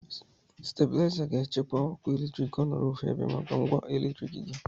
Stebulaiza ga-echekwa ọkụ eletrik ka ọ nọrọ ofu ebe maka ngwa eletriki gị.